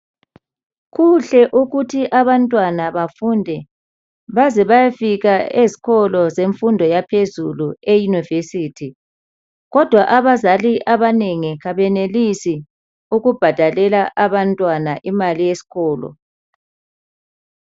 Kuhle ukuthi abantwana bafunde baze bayefika ezikolo zemfundo yaphezulu eyunivesithi kodwa abazali abanengi kabenelisi ukubhadalela abantwana imali yesikolo.